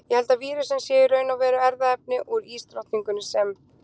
Ég held að vírusinn sé í raun og veru erfðaefni úr ísdrottningunni sem.